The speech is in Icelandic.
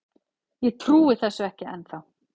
Ég trúi þessu ekki ennþá.